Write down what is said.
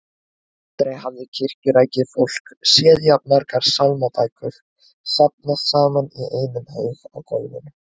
Aldrei hafði kirkjurækið fólk séð jafn margar sálmabækur safnast saman í einum haug á gólfinu.